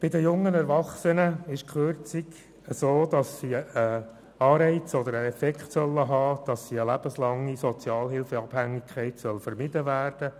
Bei den jungen Erwachsenen soll die Kürzung bewirken, eine lebenslange Abhängigkeit von der Sozialhilfe zu vermeiden.